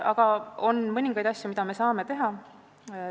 Aga on mõningaid asju, mida me saame teha.